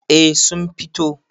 eh sun fito